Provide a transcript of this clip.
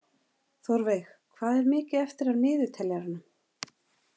Þórveig, hvað er mikið eftir af niðurteljaranum?